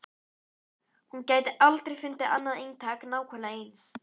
Hún gæti aldrei fundið annað eintak nákvæmlega eins.